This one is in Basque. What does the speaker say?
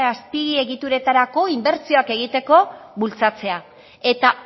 azpiegituretarako inbertsioak egiteko bultzatzea eta